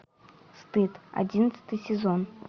стыд одиннадцатый сезон